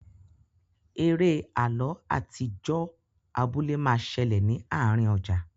Eré àlọ atijọ abúlé ma ṣẹlẹ ní àárín ọjà.